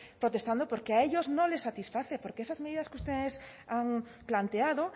protestando porque a ellos no les satisface porque esas medidas que ustedes han planteado